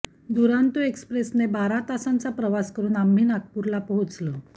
दुरांतो एक्स्प्रेसने बारा तासांचा प्रवास करून आम्ही नागपूरला पोहोचलो